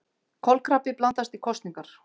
Kolkrabbi blandast í kosningar